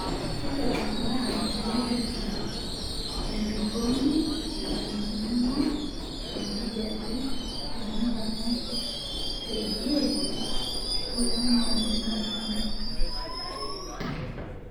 tipika mbaa naipirta entoroni eneikununo enkijiape tenakata teidie teamareni